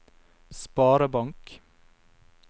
sparebank